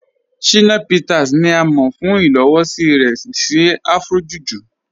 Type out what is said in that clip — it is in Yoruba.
Shina Peters ni à mọ̀ fún ilowọ̀sí rẹ̀ sí Afro-Juju.